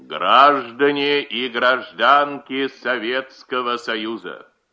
граждане и гражданки советского союза